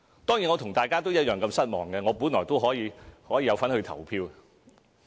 當然，我和大家一樣失望，因為本來我也可以有份去投票。